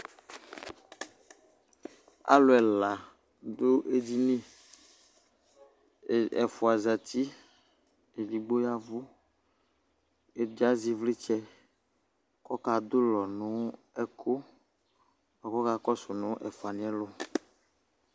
alò ɛla do edini ɛfua zati edigbo ga vu ɛdi azɛ ivlitsɛ k'ɔka do ulɔ no ɛkò boa k'ɔka kɔsu n'ɛfuani yɛ lò